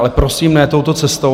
Ale prosím, ne touto cestou.